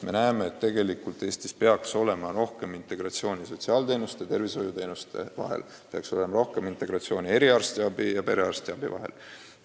Me näeme, et Eestis peaks olema rohkem integratsiooni sotsiaalteenuste ja tervishoiuteenuste vahel, peaks olema rohkem integratsiooni eriarstiabi ja perearstiabi vahel.